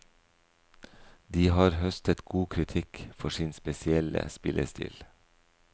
De har høstet god kritikk for sin spesielle spillestil.